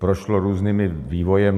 Prošlo různým vývojem.